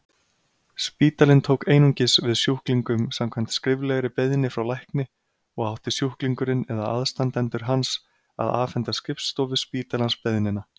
Spítalinn tók einungis við sjúklingum samkvæmt skriflegri beiðni frá lækni og átti sjúklingurinn eða aðstandendur hans að afhenda skrifstofu spítalans beiðnina.